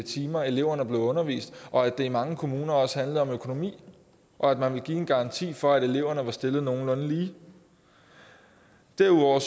timer eleverne blev undervist og at det i mange kommuner også handlede om økonomi og at man ville give en garanti for at eleverne var stillet nogenlunde lige derudover